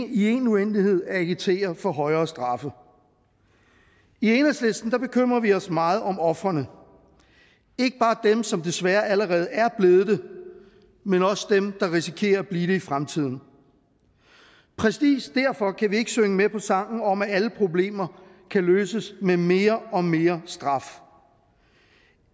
i en uendelighed at agitere for højere straffe i enhedslisten bekymrer vi os meget om ofrene ikke bare dem som desværre allerede er blevet det men også dem der risikerer at blive det i fremtiden præcis derfor kan vi ikke synge med på sangen om at alle problemer kan løses med mere og mere straf